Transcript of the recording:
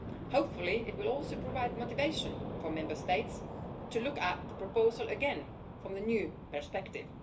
Hopefully, it will also provide motivation for Member States to look at the proposal again from the new perspective.